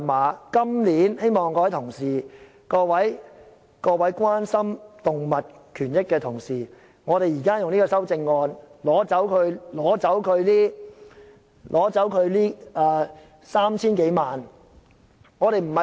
我今年希望各位同事，特別是關心動物權益的同事，可以通過這項修正案，削減漁護署 3,000 多萬元的撥款。